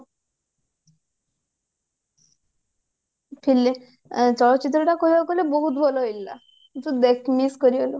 fil ଚଳଚିତ୍ର ଗୁଡାକ କହିବାକୁ ଗଲେ ବହୁତ ଭଲ ହେଇଥିଲା ତୁ ଦେଖ୍ miss କରିଗଲୁ